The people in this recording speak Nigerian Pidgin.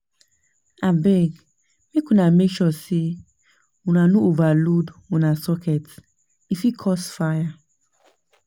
Abeg make una make sure sey una no overload una socket, e fit cause fire.